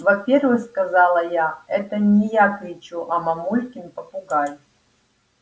во-первых сказала я это не я кричу а мамулькин попугай